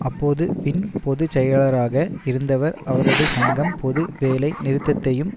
அப்போது வின் பொது செயலாளராக இருந்தவர் அவரது சங்கம் பொது வேலை நிறுத்தத்தையும்